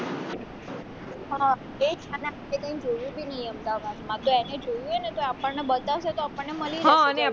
અને આપણે કઈ જોયું બી ની હોય અમદાવાદમાં એને જોયું હોય ને તો એ આપણને બતાવશે ને તો આપણને મળી રહેશે હ અને